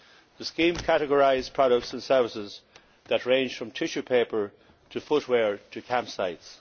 The scheme categorises products and services that range from tissue paper to footwear to campsites.